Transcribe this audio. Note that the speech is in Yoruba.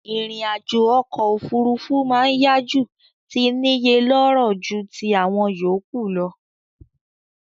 Ìrìn àjò okò òfurufú ma n yá ju ti níye lóró ju ti àwon yòkúù lo